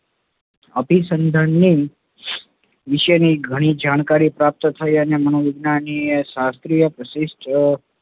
અભીસંધાનની વિશેની ઘણી જાણકારી પ્રાપ્ત થઇ અને મનોવિજ્ઞાનીય શાસ્ત્રી